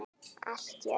Allt í öllu.